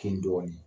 Kin dɔɔnin